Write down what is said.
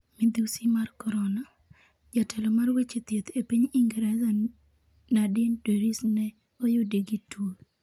Midhusi mar Korona: Jatelo mar weche thieth e piny Ingresa Nadine Dorries ne oyudi gi tuo